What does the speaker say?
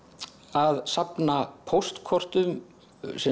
að safna póstkortum